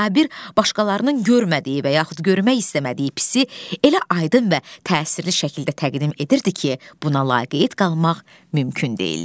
Sabir başqalarının görmədiyi və yaxud görmək istəmədiyi pisi elə aydın və təsirli şəkildə təqdim edirdi ki, buna laqeyd qalmaq mümkün deyildi.